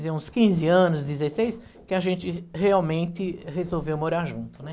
vamos dizer, uns quinze anos, dezesseis, que a gente realmente resolveu morar junto, né?